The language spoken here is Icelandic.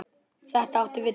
Þetta átti við Tóta.